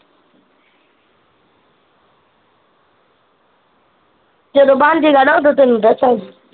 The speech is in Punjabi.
ਜਦੋਂ ਬਣਜੇਗਾ ਨਾ ਉਦੋਂ ਤੇਨੂੰ ਦੱਸਾਂਗੀ